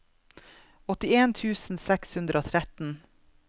åttien tusen seks hundre og tretten